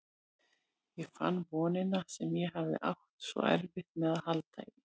Ég fann vonina sem ég hafði átt svo erfitt með að halda í.